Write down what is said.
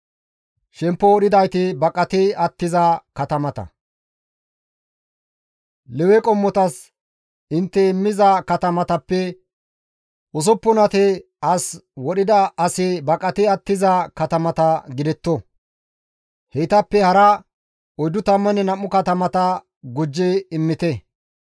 «Lewe qommotas intte immiza katamatappe usuppunati as wodhida asi baqati attiza katamata gidetto; heytappe hara 42 katamata gujji immite.